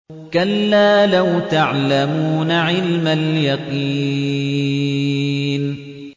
كَلَّا لَوْ تَعْلَمُونَ عِلْمَ الْيَقِينِ